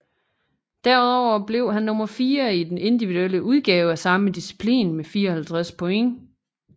Derudover blev han nummer fire i den individuelle udgave af samme disciplin med 54 point